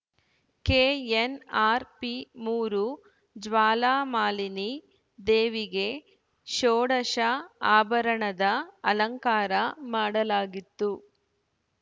KNRP ಮೂರು ಜ್ವಾಲಾಮಾಲಿನಿ ದೇವಿಗೆ ಶೋಡಷ ಆಭರಣದ ಅಲಂಕಾರ ಮಾಡಲಾಗಿತ್ತು